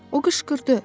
O qışqırdı.